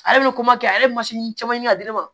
Ale bɛ kɛ ale bɛ caman ɲini ka di ne ma